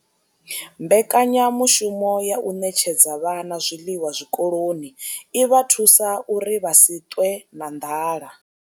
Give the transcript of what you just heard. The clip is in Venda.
Mbekanyamushumo ya u ṋetshedza vhana zwiḽiwa zwikoloni i vha thusa uri vha si ṱwe na nḓala.